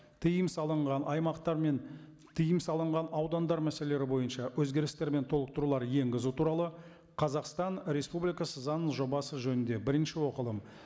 тыйым салынған аймақтар мен тыйым салынған аудандар мәселелері бойынша өзгерістер мен толықтырулар енгізу туралы қазақстан республикасы заңының жобасы жөнінде бірінші оқылым